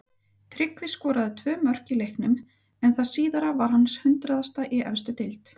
Tryggvi skoraði tvö mörk í leiknum en það síðara var hans hundraðasta í efstu deild.